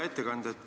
Hea ettekandja!